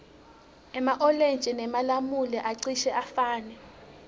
ema olintji nemalamula acishe afane